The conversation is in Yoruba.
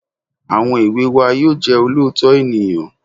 Àwọn èwe wa yóò jẹ́ olóòótọ́ ènìyàn